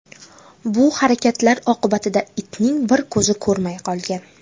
Bu harakatlar oqibatida itning bir ko‘zi ko‘rmay qolgan.